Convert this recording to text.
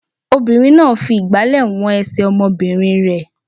Obìnrin náà fi ìgbàlẹ̀ wọn ẹsẹ̀ ọmọbìnrin rẹ̀.